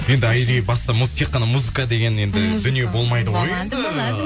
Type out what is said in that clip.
енді айри баста тек қана музыка деген енді дүние болмайды ғой енді